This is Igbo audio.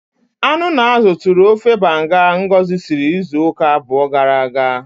Anu na azụ tụrụ ofe banga Ngozi siri izu ụka abụọ gara aga.